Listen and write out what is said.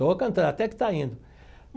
Estou cantando, até que está indo.